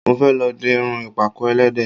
Mo fẹ́ lọ di irun ìpàkọ́ ẹlẹ́dẹ̀